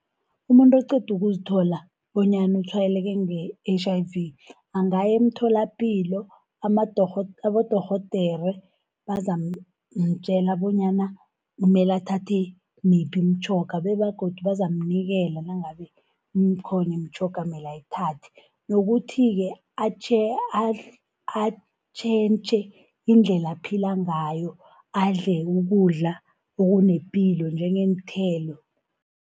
Umuntu eqeda ukuzithola bonyana utshwayeleke nge-H_I_V, angaya emtholapilo abodorhodere bazamtjela bonyana kumela athathe miphi imitjhoga, bebagodu bazamnikela nangabe ikhona imitjhoga amela ayithatha. Nokuthi-ke atjhentjhe indlela aphila ngayo, adle ukudla okunepilo njengeenthelo.